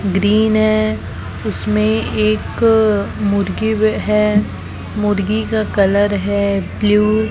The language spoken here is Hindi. ग्रीन है उसमें एक मुर्गी है मुर्गी का कलर है ब्लू ।